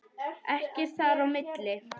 Ekkert þar á milli.